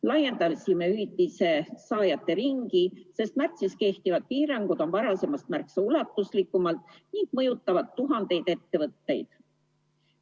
Laiendasime hüvitise saajate ringi, sest märtsist kehtivad piirangud on varasemast märksa ulatuslikumad ning mõjutavad tuhandeid ettevõtteid.